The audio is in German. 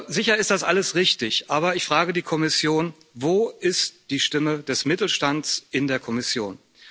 Sicher ist das alles richtig, aber ich frage die Kommission Wo ist die Stimme des Mittelstands in der Kommission?